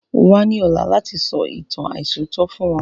Wa ni ọ̀la láti sọ ìtàn aisọ̀tọ̀ fún wọn